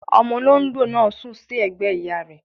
Omo olóńgbò náà sùn sí ẹ̀gbẹ́ ìyá rẹ